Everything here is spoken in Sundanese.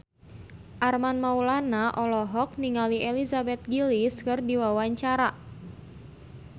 Armand Maulana olohok ningali Elizabeth Gillies keur diwawancara